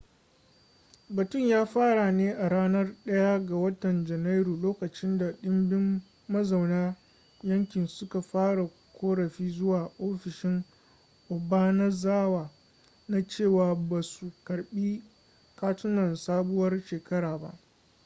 batun ya fara ne a ranar 1 ga watan janairu lokacin da dimbin mazauna yankin suka fara korafi zuwa ofishin obanazawa na cewa basu karbi katunan sabuwar shekara ba